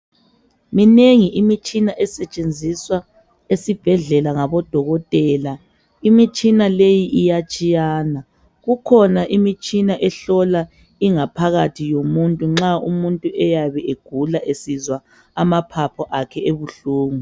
Minengi imitshina esetshenziswa esibhedlela ngabodokotela imitshina leyi iyatshiyana kukhona imitshina ehlola ingaphakathi yomuntu nxa umuntu eyabe egula esizwa amaphaphu akhe ebuhlungu